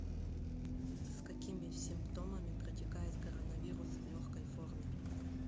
с какими симптомами протекает коронавирус в легкой форме